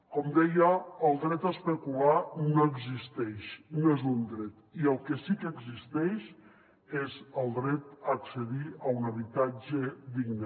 com deia el dret a especular no existeix no és un dret i el que sí que existeix és el dret a accedir a un habitatge digne